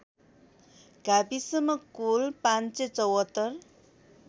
गाविसमा कुल ५७४